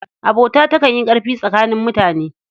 Abota takan yi ƙarfi tsakanin mutane.